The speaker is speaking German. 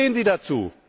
Wie stehen Sie dazu?